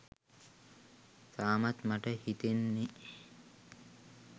තාමත් මට හිතෙන්නේ